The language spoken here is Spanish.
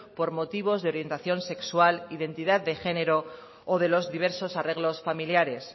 por motivos de orientación sexual identidad de género o de los diversos arreglos familiares